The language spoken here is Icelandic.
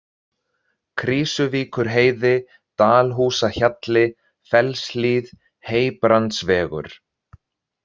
Krýsuvíkurheiði, Dalhúsahjalli, Fellshlíð, Heybrandsvegur